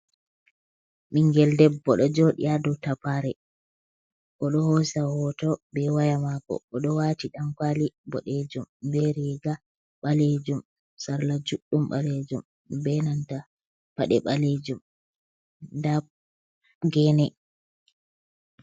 Ɓingel debbo ɗo jooɗi ha dou tapare, o ɗo hoosa hoto be waya maako, o ɗo waati ɗankwaali boɗeejum, be riiga ɓaleejum, sarla juɗɗum ɓaleejum be nanta paɗe ɓaleejum. Nda gene.